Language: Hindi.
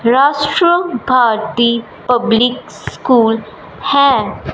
राष्ट्र भारती पब्लिक स्कूल है।